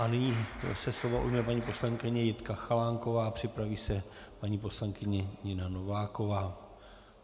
A nyní se slova ujme paní poslankyně Jitka Chalánková, připraví se paní poslankyně Nina Nováková.